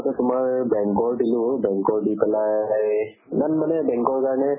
তোমাৰ bank ৰ দিলো bank ৰ দি পেলাই সেই ইমান মানে bank ৰ কাৰণে